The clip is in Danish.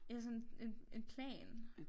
Ja sådan en en plan